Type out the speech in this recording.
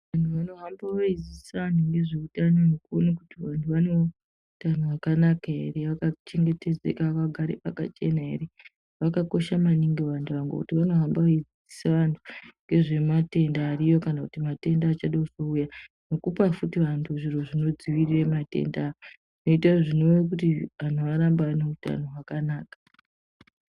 Vantu vanohamba veidzidzisa vantu ngezveutano ngekuone kuti vantu vane utano hwakanaka ere, vakachengetedzeka, vagare pakachena ere. Vakakosha maningi vantu ava ngokuti vanohamba veidzidzisa vantu ngezvematenda ariyo kana kuti matenda achada kuzouya nekupa futi vantu zviro zvinodzivirira matenda koita zvinorewa kuti antu arambe ane utano hwakanaka.